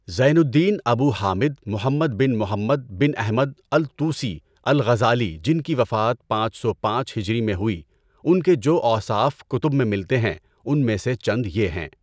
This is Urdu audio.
زین الدین ابو حامد محمد بن محمد بن احمد الطوسی الغزالی جن کی وفات پانچ سو پانچ ہجری میں ہوئی ان کے جو اوصاف کتب میں ملتے ہیں ان میں سے چند یہ ہیں۔